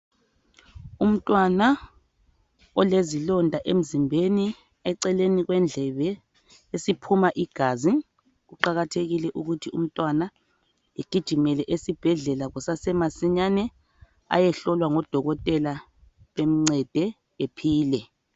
Umntwana olezilonda emzimbeni, eceleni kwendlebe esiphuma igazi. Kuqakathekile ukuthi umntwana egijimele esibhedlela kusasemasinyane, ayehlolwa ngodokotela bemncede ephile.